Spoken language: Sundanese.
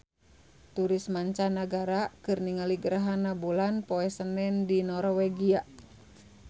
Turis mancanagara keur ningali gerhana bulan poe Senen di Norwegia